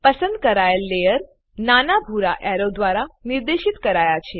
પસંદ કરાયેલ લેયર નાના ભૂરા એરો દ્વારા નિર્દેશિત કરાયા છે